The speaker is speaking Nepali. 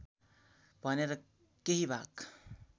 भनेर केही भाग